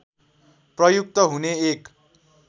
प्रयुक्त हुने एक